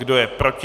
Kdo je proti?